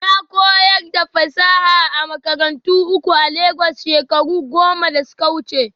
Na koyar da fasaha a makarantu uku a Legas shekaru goma da suka wuce